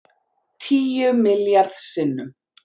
Tíu milljarð sinnum